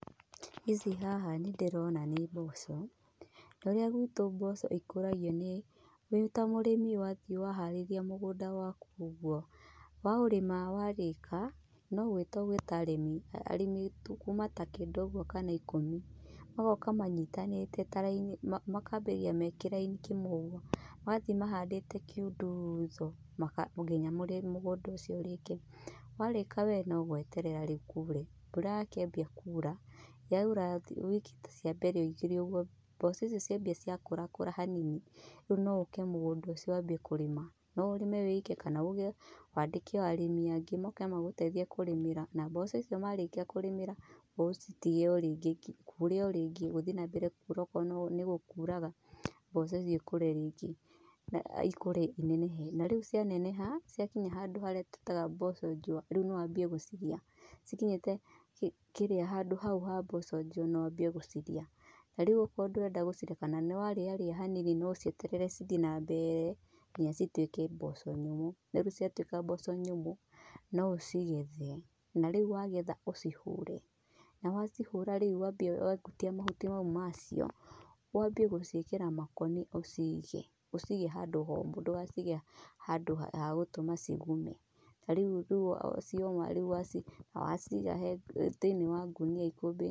Ici haha nĩ ndĩrona nĩ mboco. Ũrĩa gwĩtũ mboco ĩkuragio nĩ, wĩta mũrĩmi wathiĩ waharĩria mũgũnda waku ũguo, wa ũrĩma warĩka, no gwĩta ũgwĩta arĩmi. Arĩmi kuma ta kenda ũguo kana ikũmi. Magoka manyitanĩte ta raini, makambĩrĩria me kĩraini kĩmwe ũguo, magathiĩ mahandĩte kĩundutho nginya mũgũnda ũcio ũrĩke. Warĩka we no gweterera rĩu kuure. Mbura yakĩambia kuura, yaura wiki ta cia mbere ĩgĩrĩ ũguo, mboco icio ciambia gũkũrakũra hanini, rĩu no ũke mũgũndainĩ ũcio wambie kũrĩma. No ũrĩme wĩ ike kana uge wandĩke arĩmi angĩ moke magũteithie kũrĩmĩra. Na mboco icio marĩkia kũrĩmĩra, ũcitige o rĩngĩ cikore o rĩngĩ, gũthiĩ na mbere kuura okorwo nĩ gũkuuraga mboco icio ikũre rĩngĩ. Na ikũre inenehe. Na rĩu cianeneha, ciakinya handũ harĩa twitaga mboco njũa, rĩu nĩ wambie gucirĩa. Cikinyiite handũ hau ha mboco njũa no wambie gũcirĩa. Na rĩu okorwo ndũrenda gũcirĩa kana nĩ wa rĩa rĩa hanini no ũcieterere cithiĩ na mbere nginya citwĩke mboco nyũmũ. Na rĩu ciatwĩka mboco nyũmũ, no ũcigethe. Na rĩu wagetha ũcihũre. Na wacihũra rĩu wambe wagũtia mahuti mau macio wambie gũciĩkĩra makũnia ũciige. Ũciige handũ homũ ndũgacige handũ ha gũtũma cigume. Na rĩu cioma uciige thĩinĩ wa ngũnia ikũmbĩ-inĩ.